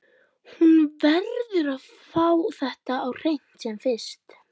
Hún verður að fá þetta á hreint sem fyrst.